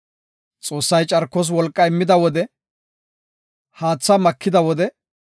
Xoossay carkos wolqaa immida wode, haatha makida wode,